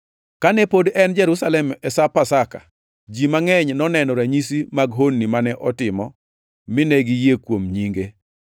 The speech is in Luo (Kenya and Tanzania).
Kane pod en Jerusalem e Sap Pasaka, ji mangʼeny noneno ranyisi mag honni mane otimo mine giyie kuom nyinge.